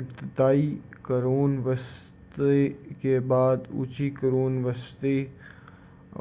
ابتدائی قرون وسطیٰ کے بعد اونچی قرون وسطیٰ